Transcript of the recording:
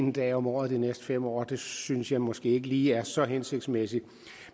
en dag om året de næste fem år det synes jeg måske ikke lige er så hensigtsmæssigt